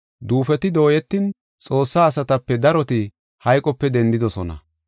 Duufoti dooyetin Xoossaa asatape daroti hayqope dendidosona.